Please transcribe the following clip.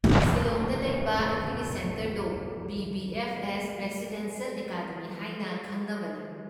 ꯁꯤꯂꯣꯡꯗ ꯂꯩꯕ ꯁꯦꯟꯇꯔꯗꯣ ꯕꯤ.ꯕꯤ.ꯑꯦꯐ.ꯑꯦꯁ. ꯔꯏꯁꯤꯗꯦꯟꯁꯤꯑꯦꯜ ꯑꯦꯀꯥꯗꯃꯤ ꯍꯥꯏꯅ ꯈꯪꯅꯕꯅꯤ꯫